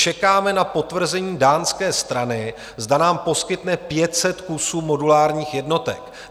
Čekáme na potvrzení dánské strany, zda nám poskytne 500 kusů modulárních jednotek.